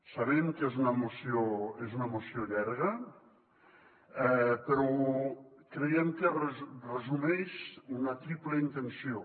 sabem que és una moció llarga però creiem que resumeix una triple intenció